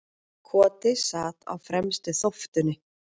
Koti sat á fremstu þóftunni.